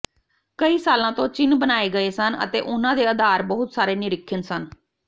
ਕਈ ਸਾਲਾਂ ਤੋਂ ਚਿੰਨ੍ਹ ਬਣਾਏ ਗਏ ਸਨ ਅਤੇ ਉਹਨਾਂ ਦੇ ਆਧਾਰ ਬਹੁਤ ਸਾਰੇ ਨਿਰੀਖਣ ਸਨ